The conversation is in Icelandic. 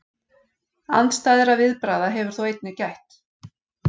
Andstæðra viðbragða hefur þó einnig gætt.